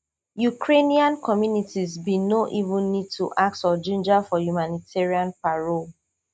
ukrainian communities bin no even need to ask or ginger for humanitarian parole